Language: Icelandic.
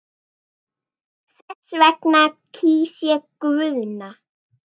Þess vegna kýs ég Guðna.